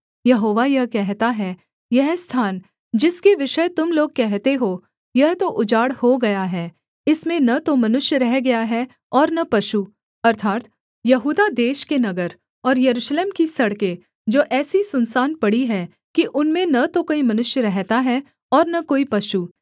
यहोवा यह कहता है यह स्थान जिसके विषय तुम लोग कहते हो यह तो उजाड़ हो गया है इसमें न तो मनुष्य रह गया है और न पशु अर्थात् यहूदा देश के नगर और यरूशलेम की सड़कें जो ऐसी सुनसान पड़ी हैं कि उनमें न तो कोई मनुष्य रहता है और न कोई पशु